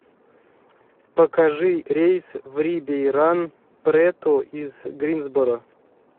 покажи рейс в рибейран прету из гринсборо